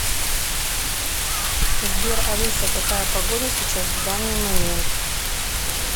сбер алиса какая погода сейчас в данный момент